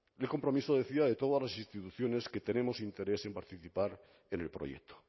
compromiso de todas las instituciones que tenemos interés en participar en el proyecto